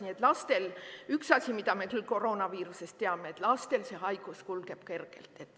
Nii et lastel – üks asi, mida me küll koroonaviirusest teame – see haigus kulgeb kergelt.